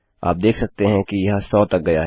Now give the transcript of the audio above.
आप देख सकते हैं यह सौ तक गया है